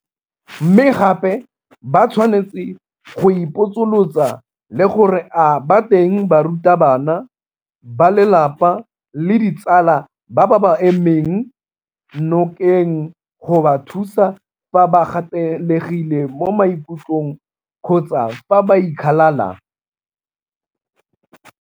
Mme gape ba tshwanetse go ipotsolotsa le gore a ba teng barutabana, balelapa le ditsala ba ba ba emeng nokeng go ba thusa fa ba gatelegile mo maikutlong kgotsa fa ba ikgalala?